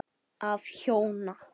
Af hjóna